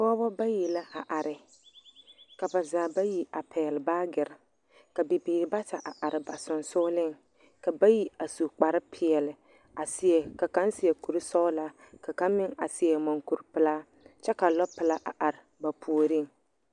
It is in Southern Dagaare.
Pɔgeba bayi la a are, ka ba zaa bayi a pɛgele baagere. Ka bibiiri bata a are ba sonsooleŋ ka bayi a su kpare peɛle a seɛ ka kaŋ seɛ kuri sɔgelaa. Ka kaŋa meŋ a seɛ munhuri pelaa. kyɛ ka lɔpelaa a are ba puoriŋ.